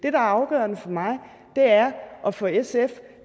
er afgørende for mig og for sf